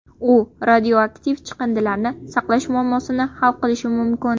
U radioaktiv chiqindilarni saqlash muammosini hal qilishi mumkin.